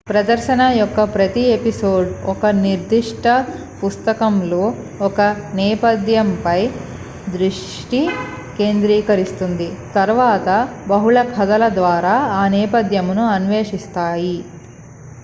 ప్రదర్శన యొక్క ప్రతి ఎపిసోడ్ ఒక నిర్దిష్ట పుస్తకంలోని ఒక నేపథ్యంపై దృష్టి కేంద్రీకరిస్తుంది తరువాత బహుళ కథల ద్వారా ఆ నేపథ్యమును అన్వేషిస్తాము